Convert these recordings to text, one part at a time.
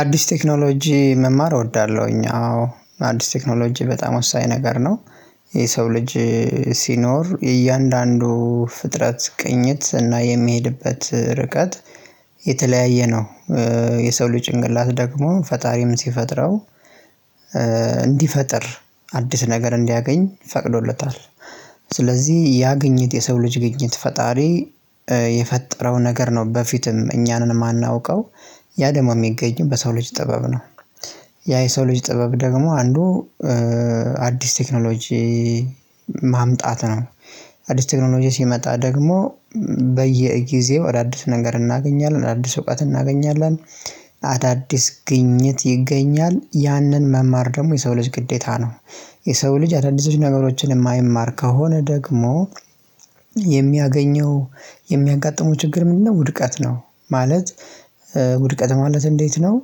አዲስ ቴክኖሎጂ መማር እወዳለሁኝ አዎ አዲስ ቴክኖሎጂ በጣም ወሳኝ ነገር ነው። የሰው ልጅ ሲኖር እያንዳንዱ ፍጥረት ቅኝት እና የሚሄድበት ርቀት የተለያየ ነው። የሰው ልጅ ጭንቅላት ደግሞ ፈጣሪም ሲፈጥረው እንዲፈጥር አዲስ ነገር እንዲያገኝ ፈቅዶለታል። ስለዚህ ያ ግኘት የሰው ልጅ ግኝት ፈጣሪ የፈጠረው ነገር ነው በፊትም እኛም የማናውቀው ያ ደግሞ የሚገኝም በሰው ልጅ ጥበብ ነው። ያ የሰው ልጅ ጥበብ ደግሞ አንዱ አዲስ ቴክኖሎጂ ማምጣት ነው። አዲስ ቴክኖሎጂ ሲመጣ ደግሞ በየጊዜው ወደ አዲስ ነገር እናገኛለን አዲስ እውቀት እናገኛለን። አዳዲስ ግኝት ይገኛል ያንን መማር ደግሞ የሰው ልጅ ግዴታ ነው። የሰው ልጅ አዳዲስ ነገሮችን የማይማር ከሆነ ደግሞ የሚያገኘው የሚያጋጥሙ ችግር ምንድነው? ውድቀት ነው ማለት ውድቀት ማለት እንዴት ነው?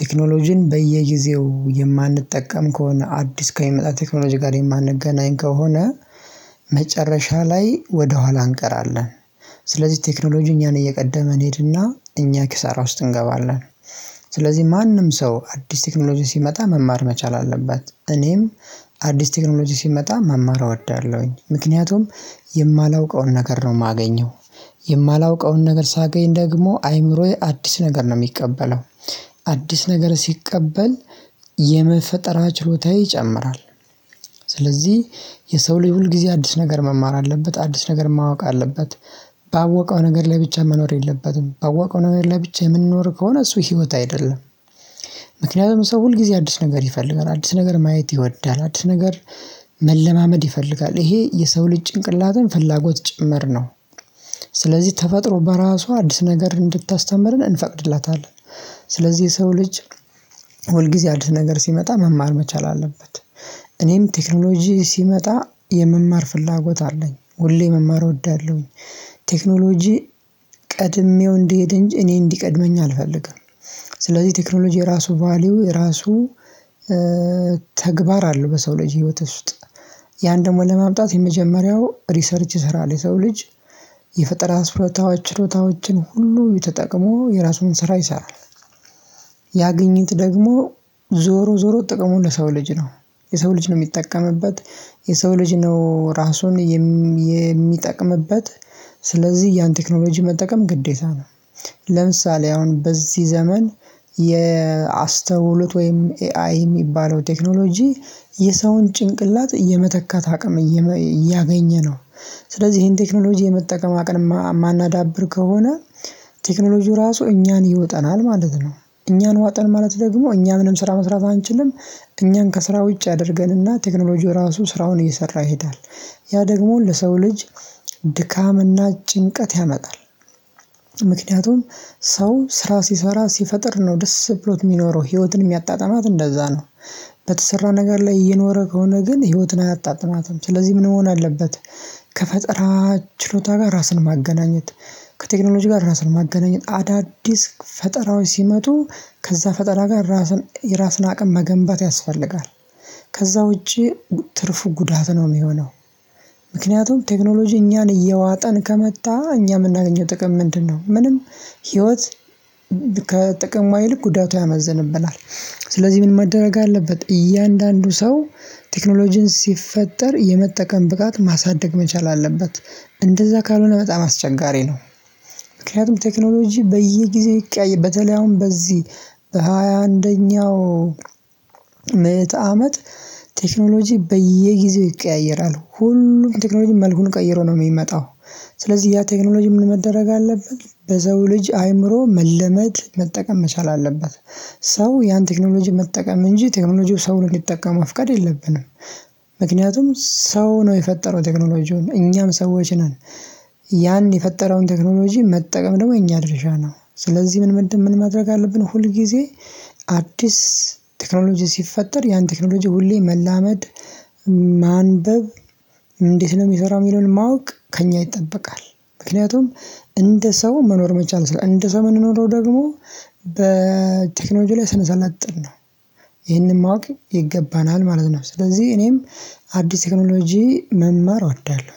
ቴክኖሎጂን በየጊዜው የማንጠቀም ከሆነ አዲስ ከሚመጣ ቴክኖሎጂ ጋር የማንገናኝ ከሆነ መጨረሻ ላይ ወደኋላ እንቀራለን። ስለዚህ ቴክኖሎጂ እኛን እየቀደመ እንሄድና እኛ ኪሳራ ውስጥ እንገባለን። ስለዚህ ማንም ሰው አዲስ ቴክኖሎጂ ሲመጣ መማር መቻል አለበት እኔም አዲስ ቴክኖሎጂ ሲመጣ መማር አወዳለሁኝ። ምክንያቱም የማላውቀውን ነገር ነው የማገኘው የማላውቀውን ነገር ሳገኝ ደግሞ አይምሮዬ አዲስ ነገር ነው የሚቀበለው አዲስ ነገር ሲቀበል የፈጠራ ችሎታየ ይጨምራል። ስለዚህ የሰው ልጅ ሁልጊዜ አዲስ ነገር መማር አለበት አዲስ ነገር ማወቅ አለበት። ባወቀው ነገር ላይ ብቻ መኖር የለበትም ባወቀው ነገር ላይ ብቻ የምንኖር ከሆነ እሱ ህይወት አይደለም። ምክንያቱም ሰው ሁል ጊዜ አዲስ ነገር ይፈልጋል አዲስ ነገር ማየት ይወዳል አዲስ ነገር መለማመድ ይፈልጋል ይሄ የሰው ልጅ ጭንቅላትን ፍላጎት ጭምር ነው። ስለዚህ ተፈጥሮ በራሷ አዲስ ነገር እንድታስተምርን እንፈቅድላታለን ስለዚህ የሰው ልጅ ሁል ጊዜ አዲስ ነገር ሲመጣ መማር መቻል አለበት። እኔም ቴክኖሎጂ ሲመጣ የመማር ፍላጎት አለኝ ሁሌ መማር እወዳለሁኝ። ቴክኖሎጂ ቀድሜው እንድሄድ እንጂ እኔን እንዲቀድመኝ አልፈልግም። ስለዚህ ቴክኖሎጂ የራሱ ቫልዩ የራሱ ተግባር አለው በሰው ልጅ ህይወት ውስጥ ያን ደግሞ ለማምጣት የመጀመሪያው ሪሰርች ስራ ለሰው ልጅ የፈጠራ ችሎታዎችን ሁሉ ተጠቅሞ የራሱን ስራ ይሰራል። ደግሞ ዞሮ ዞሮ ጥቅሙ ለሰው ልጅ ነው የሰው ልጅ ነው የሚጠቀምበት የሰው ልጅ ነው ራሱን የሚጠቅምበት ስለዚህ ያን ቴክኖሎጂ መጠቀም ግዴታ ነው። ለምሳሌ አሁን በዚህ ዘመን የአስተውሎት ወይም ኤአይ የሚባለው ቴክኖሎጂ የሰውን ጭንቅላት የመተካት አቅም እያገኘ ነው። ስለዚህ ይሄን ቴክኖሎጂ የመጠቀም አቅም የማናዳብር ከሆነ ቴክኖሎጂው ራሱ እኛን ይውጠናል ማለት ነው። እኛን ዋጠን ማለት ደግሞ እኛ ምንም ስራ መስራት አንችልም። እኛን ከስራ ውጪ ያደርገንና ቴክኖሎጂው ራሱ ስራውን እየሰራ ይሄዳል። ያ ደግሞ ለሰው ልጅ ድካምና ጭንቀት ያመጣል። ሰው ስራ ሲሰራ ሲፈጥር ነው ደስ ብሎት የሚኖረው ህይወትን የሚያጣጥማት እንደዛ ነው። ነገር ላይ እየኖረ ከሆነ ግን ህይወትን አያጣጥማትም ስለዚህ ምን መሆን አለበት? ከፈጠራ ችሎታ ጋር ራስን ማገናኘት ከቴክኖሎጂ ጋር ራስን ማገናኘት አዳዲስ ፈጠራወች ሲመጡ ከዛ ፈጠራ ጋር ራስን የራስን አቅም መገንባት ያስፈልጋል። ከዛ ውጪ ትርፉ ጉዳት ነው የሚሆነው። ምክንያቱም ቴክኖሎጂ እኛን እየዋጠን ከመጣ እኛ የምናገኘው ጥቅም ምንድነው? ምንም ህይወት ከጥቅሟ ይልቅ ጉዳቱ ያመዝንብናል። ስለዚህ ምን መደረግ አለበት? እያንዳንዱ ሰው ቴክኖሎጂን ሲፈጠር የመጠቀም ብቃት ማሳደግ መቻል አለበት እንደዛ ካልሆነ በጣም አስቸጋሪ ነው። ምክንያቱም ቴክኖሎጂ በየጊዜው ይቀያየራል በተለይ አሁን በዚህ በሃያ አንደኛው ምዕት አመት ቴክኖሎጂ በየጊዜው ይቀያየራል ሁሉም ቴክኖሎጂ መልኩን ቀይሮ ነው የሚመጣው። ስለዚህ ያ ቴክኖሎጂ ምን መደረግ አለበት በሰው ልጅ አእምሮ መለመድ መጠቀም መቻል አለበት። ሰው ያን ቴክኖሎጂ መጠቀም እንጂ ቴክኖሎጂው ሰውን እንደጠቀመው መፍቃድ የለብንም። ምክንያቱም ሰው ነው የፈጠረው ቴክኖሎጂውን እኛም ሰዎች ነን። ያን የፈጠርነውን ቴክኖሎጂ መጠቀም ደግሞ የኛ ድርሻ ነው። ስለዚህ ምን ማድረግ አለብን? ሁል ጊዜ አዲስ ቴክኖሎጂ ሲፈጠር ያን ቴክኖሎጂ ሁሌ መላመድ ማንበብ እንዴት ነው የሚሰራው የሚለውን ማወቅ ከእኛ ይጠበቃል። ምክንያቱም እንደ ሰው መኖር መቻል እንደ ሰው ምንኖረው ደግሞ በቴክኖሎጂ ላይ ስንሰለጥን ነው። ይሄንን ማወቅ ይገባናል ማለት ነው። ስለዚህ እኔም አዲስ ቴክኖሎጂ መማር እወዳለሁ